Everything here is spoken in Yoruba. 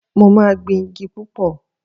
Mo máa gbin igi púpọ̀